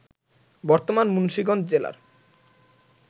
বর্তমান মুন্সিগঞ্জ জেলার